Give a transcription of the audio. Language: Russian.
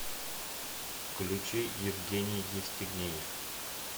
включи евгений евстигнеев